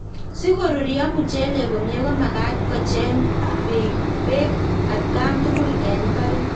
Si korurio muchelek komie ko magat kochang peek at kan tugul eng imbaret